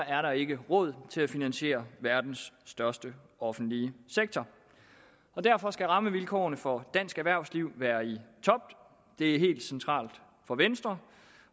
er der ikke råd til at finansiere verdens største offentlige sektor derfor skal rammevilkårene for dansk erhvervsliv være i top det er helt centralt for venstre